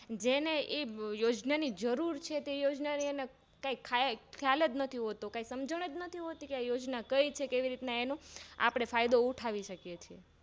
જે ને એયોજના ઓંની જરૂર છે તે યોજના નો કઈ ખ્યાલજ નથી હોતો કઈ સમજણ જ નથી હોતી આ યોજના કઈ છે કઈ રીતે એનું આપણે ફાયદો ઉઠાવી શકીએ